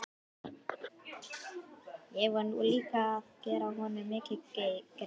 Ég var nú líka að gera honum mikinn greiða.